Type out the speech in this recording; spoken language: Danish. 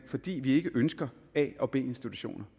fordi vi ikke ønsker a og b institutioner